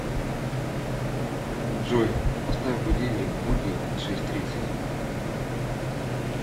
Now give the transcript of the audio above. джой поставь будильник в будни на шесть тридцать